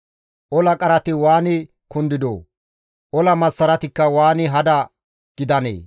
«Ola qarati waani kundidoo! Ola massaratikka waani hada gidanee!»